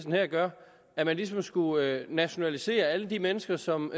her gør at man ligesom skulle nationalisere alle de mennesker som